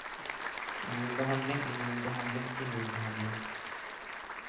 immunbehandling immunbehandling immunbehandling